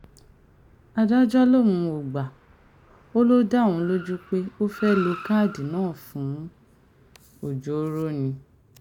adájọ́ lòun ò gbà ọ́ ló dá òun lójú pé ó fẹ́ẹ̀ lo káàdì náà fún ọjọ́ọ́rọ́ ni